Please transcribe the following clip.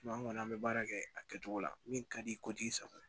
an kɔni an bɛ baara kɛ a kɛcogo la min ka di kotigi sago ye